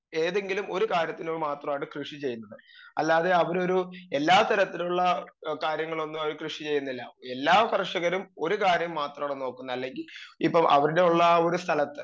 speaker 2 ഏതെങ്കിലും ഒരു കാര്യത്തില് മാത്രമാണ് കൃഷി ചെയ്യുന്നത് അല്ലാതെ അവരൊരു എല്ലാ തരത്തിലുള്ള ഏ കാര്യങ്ങളൊന്നും അവര് കൃഷി ചെയ്യുന്നില്ല എല്ലാ കർഷകരും ഒരു കാര്യം മാത്രമാണ് നോക്കുന്നത് അല്ലെങ്കി ഇപ്പ അവരുടെ ഉള്ള ആ ഒരു സ്ഥലത്ത്